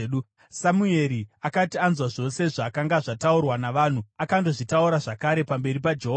Samueri akati anzwa zvose zvakanga zvataurwa navanhu, akandozvitaura zvakare pamberi paJehovha.